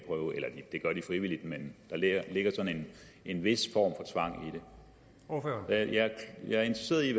frivilligt men der ligger en vis form for tvang i det jeg er interesseret i at